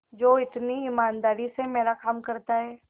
जो इतनी ईमानदारी से मेरा काम करता है